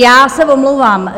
Já se omlouvám.